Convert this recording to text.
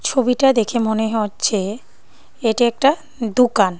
ছবিটা দেখে মনে হচ্ছে এটা একটা দোকান।